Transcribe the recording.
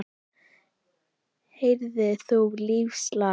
Heyrðir þú lífsins lag?